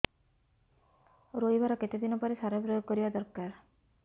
ରୋଈବା ର କେତେ ଦିନ ପରେ ସାର ପ୍ରୋୟାଗ କରିବା ଦରକାର